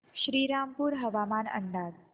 श्रीरामपूर हवामान अंदाज